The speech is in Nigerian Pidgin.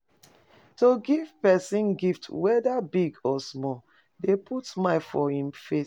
To give persin gift whether big or small de put smile for in face